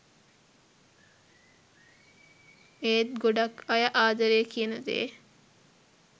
ඒත් ගොඩක් අය ආදරේ කියනදේ